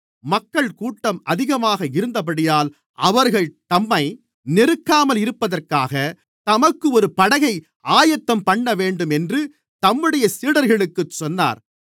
மக்கள்கூட்டம் அதிகமாக இருந்தபடியால் அவர்கள் தம்மை நெருக்காமல் இருப்பதற்காக தமக்கு ஒரு படகை ஆயத்தம் பண்ணவேண்டும் என்று தம்முடைய சீடர்களுக்குச் சொன்னார்